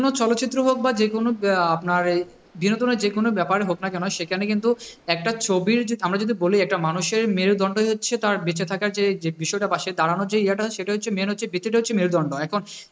চলচ্চিত্র হোক বা যেকোনো আপনার এই বিনোদনের যেকোনো ব্যাপারে হোক না কেন সেখানে কিন্তু একটা ছবির আমরা যদি বলি একটা মানুষের মেরুদন্ডই হচ্ছে তার বেঁচে থাকার যে যে বিষয়টা বা সে দাঁড়ানোর যে ইয়ে টা সেটা হচ্ছে main হচ্ছে, হচ্ছে মেরুদন্ড।